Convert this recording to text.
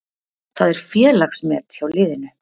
Það er félagsmet hjá liðinu.